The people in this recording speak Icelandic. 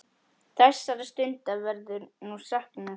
Þessara stunda verður nú saknað.